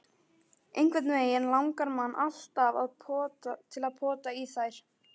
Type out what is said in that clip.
Einhvernveginn langaði mann alltaf til að pota í þær.